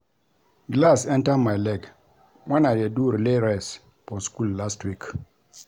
Glass enter my leg wen I dey do relay race for school last week